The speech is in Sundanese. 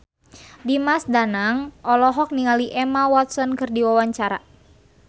Dimas Danang olohok ningali Emma Watson keur diwawancara